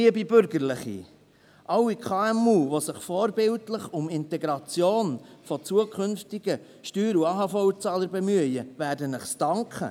Liebe Bürgerliche, alle KMU, die sich vorbildlich um die Integration von zukünftigen Steuer- und AHV-Zahlern bemühen, werden es Ihnen danken!